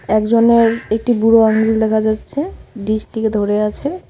একজনের একটি বুড়ো আঙ্গুল দেখা যাচ্ছে ডিসটিকে ধরে আছে।